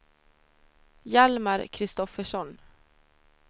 Hjalmar Kristoffersson